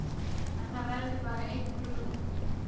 En það verður bara einn brúðarkjóll